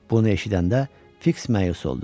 Bunu eşidəndə Fiks məyus oldu.